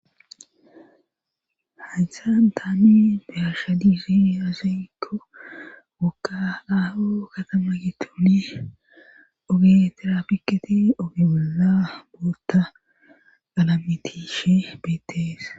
Hassan tani behasha diihi yazaekko guka ao katama gitone ogeeterapiketi ogebola boota galamitishe beetees.